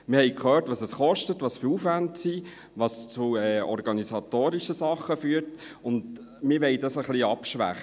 » Wir haben gehört, was es kostet, welche Aufwände es gibt, was zu organisatorischen Dingen führt, und wir möchten dies ein bisschen abschwächen.